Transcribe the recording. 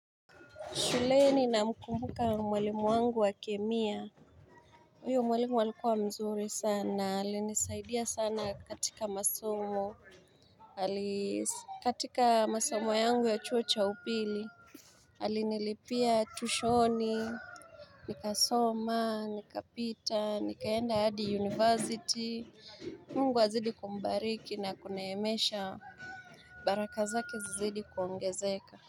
Shuleni namkumbuka mwalimu wangu wa kemia Uyo mwalimu alikuwa mzuri sana alinisaidia sana katika masomo Alis katika masomo yangu ya chuo cha upili Alinilipia tushoni Nikasoma nikapita nikaenda hadi university Mungu azidi kumbariki na kunaemesha baraka zake zizidi kuongezeka.